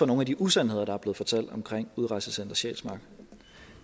nogle af de usandheder der er blevet fortalt omkring udrejsecenter sjælsmark